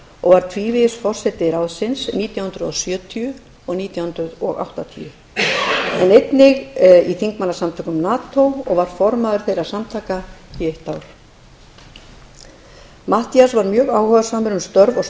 og var tvívegis forseti ráðsins nítján hundruð sjötíu og nítján hundruð áttatíu en einnig í þingmannasamtökum nato og var formaður þeirra eitt ár matthías var mjög áhugasamur um störf og